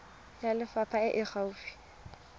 ya lefapha e e gaufi